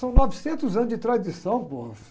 São novecentos anos de tradição.